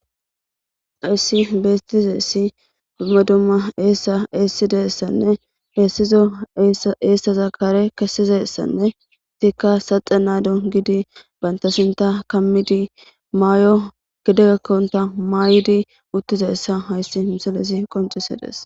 ahayssi beestize essi dumma dumma eessa eessideessanne heessizo eessaza kare kesizassanne tikka saxa naado gidi banta sinta kamidi maayo gidegakkonta maaydi uttize essa hayssi misalesi qoncise des